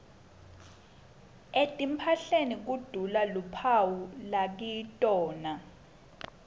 etimphahleni kudula luphawu lakitona